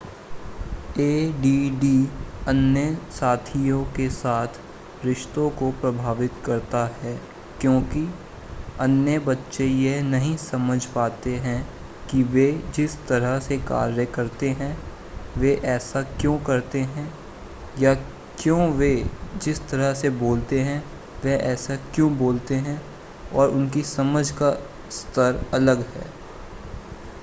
ऐ D D अन्य साथियों के साथ रिश्तों को प्रभावित करता है क्योंकि अन्य बच्चे यह नहीं समझपाते हैं कि वे जिस तरह से कार्य करते हैं वे ऐसा क्यों करते हैं या क्यों वे जिस तरह से बोलते हैं वे ऐसे क्यों बोलते हैं और उनकी समझ का स्तर अलग है